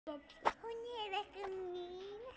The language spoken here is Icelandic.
Hún er ekki mín.